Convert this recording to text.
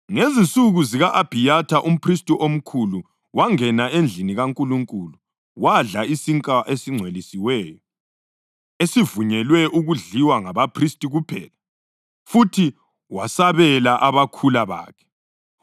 Ngezinsuku zika-Abhiyatha umphristi omkhulu wangena endlini kaNkulunkulu wadla isinkwa esingcwelisiweyo, esivunyelwe ukudliwa ngabaphristi kuphela. Futhi wasabela abakhula bakhe.”